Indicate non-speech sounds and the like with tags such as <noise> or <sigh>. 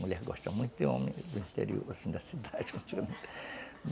Mulher gosta muito de homem, do interior, assim, <laughs> da cidade.